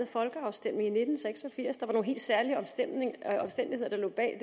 folkeafstemning i nitten seks og firs der var nogle helt særlige omstændigheder der lå bag